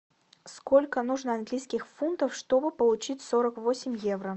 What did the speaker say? сколько нужно английских фунтов чтобы получить сорок восемь евро